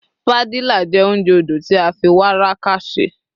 Padilla jé ounjẹ odò ti a fi warqa ṣe